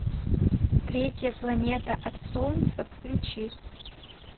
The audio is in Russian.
третья планета от солнца включи